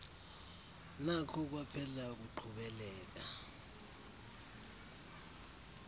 nakho kwaphela ukuqhubeleka